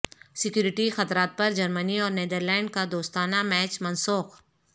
security خطرات پر Germany اور نیدرلینڈ کا دوستانہ میچ منسوخ